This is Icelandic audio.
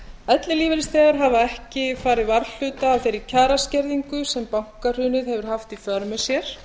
ellilífeyrisþegar hafa ekki farið varhluta af þeirri kjaraskerðingu sem bankahrunið hefur haft í för með sér